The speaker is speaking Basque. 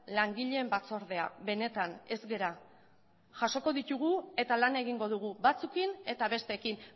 langileen batzordea benetan ez gara jasokok ditugu eta lan egingo dugu batzuekin eta besteekin